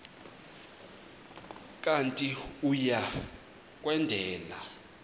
kanti uia kwendela